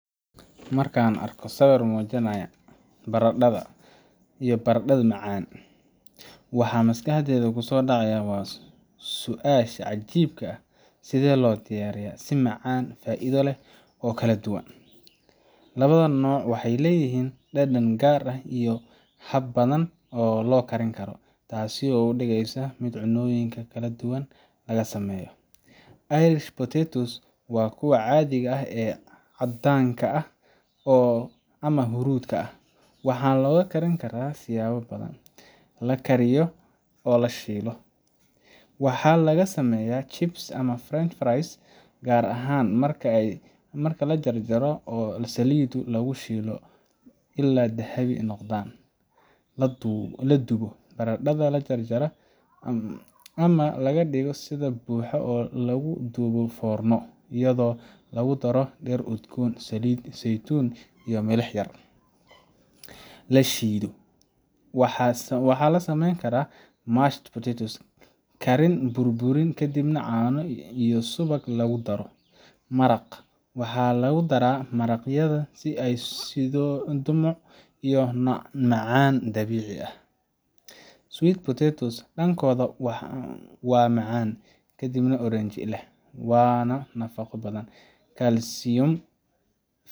Markaan arko sawir muujinaya barandhada iyo barandhada macaanka , waxa maskaxdayda kusoo dhacaya waa su’aasha cajiibka ah: sidee loo diyaariyaa si macaan, faa’iido leh, oo kala duwan Labada noocba waxay leeyihiin dhadhan gaar ah iyo habab badan oo loo karin karo, taasoo ka dhigaysa mid cunnooyin kala duwan laga sameeyo. Irish potatoes waa kuwa caadiga ah ee caddaanka ah ama hurdi ah, waxaana loo karin karaa siyaabo badan: – La kariyo oo la shiilo : Waxaa laga sameeyaa chips ama french fries, gaar ahaan marka la jar jarro oo saliid lagu shiilo ilaa ay dahabi noqdaan. – La dubo: Barandhada la jar-jaray ama la dhigto sida buuxa waxaa lagu duba foorno iyadoo lagu daro dhir udgoon, saliid saytuun, iyo milix yar. La shiido: Waxaa laga sameeyaa mashed potatoes karin, burburin, kadibna caano iyo subag lagu daro. Maraq: Waxaa lagu daraa maraqyada si ay u siiso dhumuc iyo macaan dabiici ah. Sweet potatoes dhankooda waa macaan, midab oranji leh, waana nafaqo badan—kalsiyum,